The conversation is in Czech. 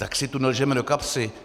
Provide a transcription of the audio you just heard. Tak si tu nelžeme do kapsy.